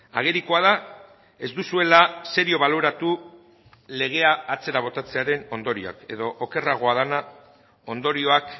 agerikoa da ez duzuela serio baloratu legea atzera botatzearen ondorioak edo okerragoa dena ondorioak